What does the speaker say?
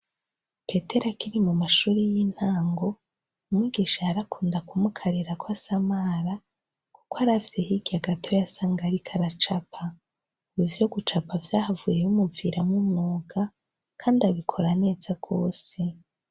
Petero akiri mu mashuri y'intango, umwigisha yarakunda kumukarira ko asamara kuko aravye hirya gato yasanga ariko aracapa. Ubu ivyo gucapa vyahavuye bimuviramwo umwuga, kandi abikora neza rwose.